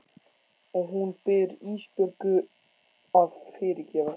Og hún biður Ísbjörgu að fyrirgefa sér.